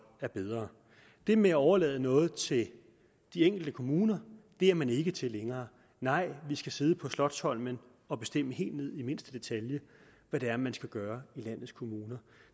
er bedre det med at overlade noget til de enkelte kommuner er man ikke til længere nej vi skal sidde på slotsholmen og bestemme helt ned i mindste detalje hvad det er man skal gøre i landets kommuner